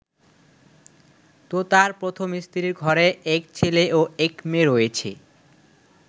তোতার প্রথম স্ত্রীর ঘরে এক ছেলে ও এক মেয়ে রয়েছে।